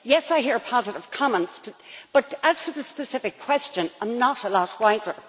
Yes, I hear positive comments but, as to the specific question, I am not a lot wiser.